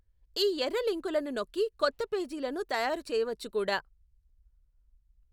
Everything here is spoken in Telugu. ఈ ఎర్ర లింకులను నొక్కి కొత్త పేజీలను తయారు చెయ్యవచ్చు కూడా.